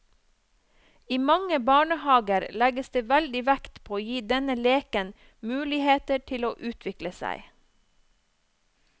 I mange barnehager legges det veldig vekt på å gi denne leken muligheter til å utvikle seg.